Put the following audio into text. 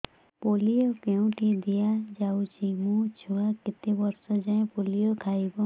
polio କେଉଁଠି ଦିଆଯାଉଛି ମୋ ଛୁଆ କେତେ ବର୍ଷ ଯାଏଁ ପୋଲିଓ ଖାଇବ